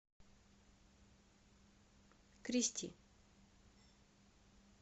кристи